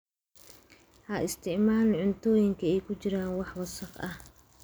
Ha isticmaalin cuntooyinka ay ku jiraan wax wasakh ah.